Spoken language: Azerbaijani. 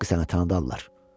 Haqqı sənə tanıdarlar.